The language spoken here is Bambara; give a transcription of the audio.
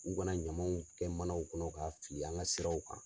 U kana ɲamanw kɛ manaw kɔnɔ ka fili an ka siraw kan.